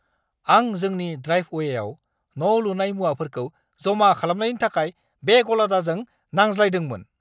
आं जोंनि ड्राइभवेयाव न' लुनाय मुवाफोरखौ जमा खालामनायनि थाखाय बे गलादारजों नांज्लायदोंमोन।